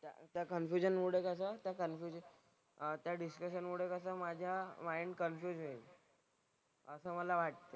त्या कन्फ्युजनमुळे कसं त्या कन्फ्युजन अह त्या डिस्कशनमुळे कसं माझा माईंड कन्फ्युज होईल. असं मला वाटतं.